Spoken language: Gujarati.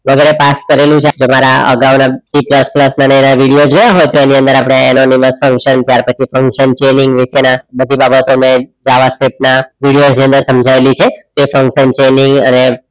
લગરે પાસ કરાળું છે તો મારા આગાવ ના વિડીયો જોયા હોય તો એની અંદર આપણે enamuluos function ત્યાર પછી function બધી બાબતોને જાવાસ્ક્રિપ્ટ આ વીડિયોની અંદર સમજાવેલી છે એ function